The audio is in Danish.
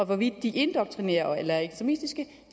hvorvidt de indoktrinerer eller er ekstremistiske